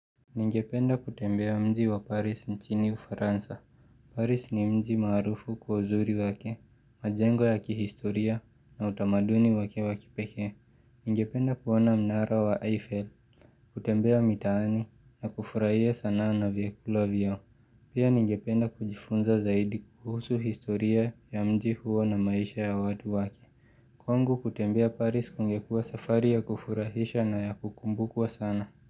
Ningependa kutembea mji wa Paris nchini uFransa. Paris ni mji marufu kwa uzuri wake, majengo ya kihistoria na utamaduni wake wakipeke. Ningependa kuona mnara wa Eiffel, kutembea mitani na kufurahia sana na vyakula vyao. Pia ningependa kujifunza zaidi kuhusu historia ya mji huo na maisha ya watu wake. Kongu kutembea Paris kungekua safari ya kufurahisha na ya kukumbukwa sana.